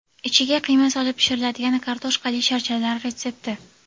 Ichiga qiyma solib pishiriladigan kartoshkali sharchalar retsepti .